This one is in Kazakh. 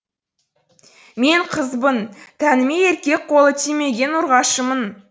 мен қызбын тәніме еркек қолы тимеген ұрғашымын